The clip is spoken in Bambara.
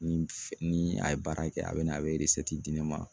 Ni ni a ye baara kɛ a be na a be di ne ma